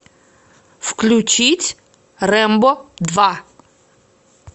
включить рэмбо два